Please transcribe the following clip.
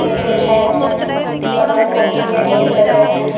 नीचे बिछाय गए है बहुत सारे कॉपी के ढेर लगे हुए हैं।